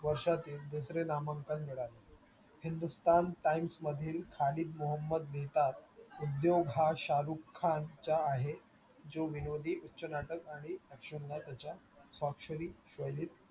वर्षातील दुसरे नामांकन मिळाले. Hindusthan Times मधील मुहम्मद लिहितात, उद्योग हा शाहरुख खानचा आहे. जो विनोदी उच्च नाटक आणि action ला त्याच्या स्वाक्षरी